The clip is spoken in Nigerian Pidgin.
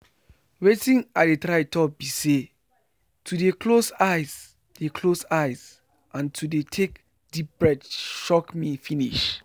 watin i dey try talk be say to dey close eyes dey close eyes and to dey take deep breath shock me finish.